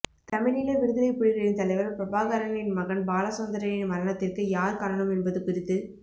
தமிழீழ விடுதலைப் புலிகளின் தலைவர் பிரபாகரனின் மகன் பாலசந்திரனின் மரணத்திற்கு யார் காரணம் என்பது குறித்து